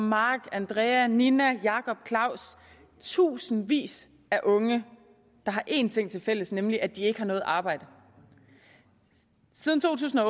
mark andrea ninna jakob claus tusindvis af unge der har en ting tilfælles nemlig at de ikke har noget arbejde siden to tusind og